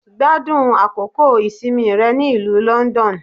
Gbádùn àkókò ìsinmi rẹ ní ìlú London